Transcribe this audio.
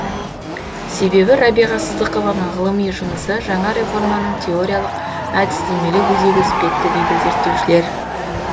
себебі рәбиға сыздықованың ғылыми жұмысы жаңа реформаның теориялық әдістемелік өзегі іспетті дейді зерттеушілер